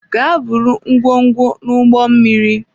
Gaa buru ngwongwo n'ụgbọ mmiri!